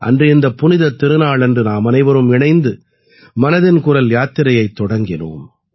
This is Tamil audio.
அன்று இந்தப் புனிதத் திருநாளன்று நாமனைவரும் இணைந்து மனதின் குரல் யாத்திரையைத் தொடக்கினோம்